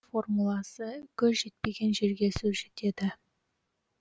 формуласы көз жетпеген жерге сөз жетеді